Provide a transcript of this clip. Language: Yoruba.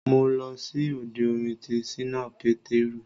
Mo lọ sí òde orin ti ṣínà Pétérù